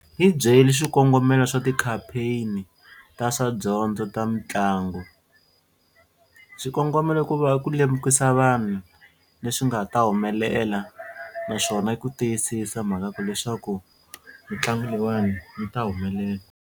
Hi byeli swikongomelo swa ti-campaign ta swa dyondzo ta mitlangu. Swikongomelo ku va ku lemukisa vanhu leswi nga ta humelela naswona i ku tiyisisa mhaka ku leswaku mitlangu leyiwani yi ta humelela.